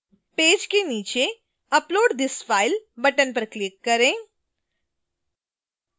page के नीचे upload this file button पर click करें